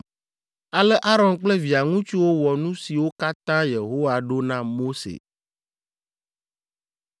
Ale Aron kple via ŋutsuwo wɔ nu siwo katã Yehowa ɖo na Mose.